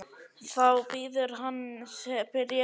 Þá bíður hans bréf frá Sólu.